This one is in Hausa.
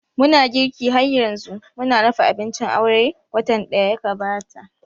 Muna girki har yanzu, mun dafa abincin aure watan daya gabata